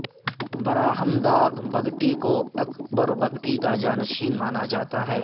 براہمداغ بگٹی کو اکبر بگٹی کا جانشین مانا جاتا ہے